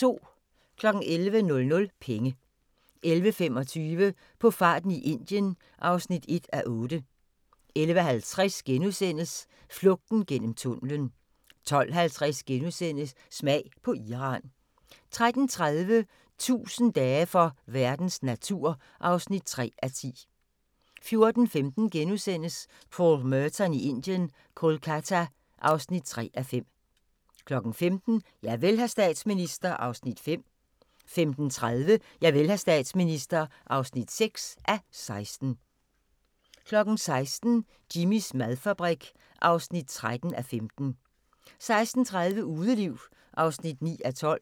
11:00: Penge 11:25: På farten i Indien (1:8) 11:50: Flugten gennem tunnelen * 12:50: Smag på Iran * 13:30: 1000 dage for verdens natur (3:10) 14:15: Paul Merton i Indien – Kolkata (3:5)* 15:00: Javel, hr. statsminister (5:16) 15:30: Javel, hr. statsminister (6:16) 16:00: Jimmys madfabrik (13:15) 16:30: Udeliv (9:12)